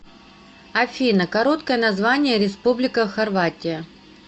афина короткое название республика хорватия